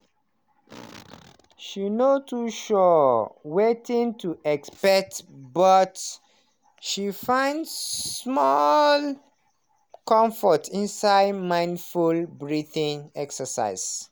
she no too sure wetin to expect, but she find small comfort inside mindful breathing exercise.